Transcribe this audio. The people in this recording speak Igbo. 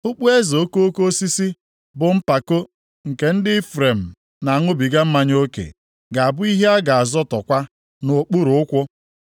Okpueze okoko osisi, bụ mpako nke ndị Ifrem na-aṅụbiga mmanya oke, ga-abụ ihe a ga-azọtọkwa nʼokpuru ụkwụ.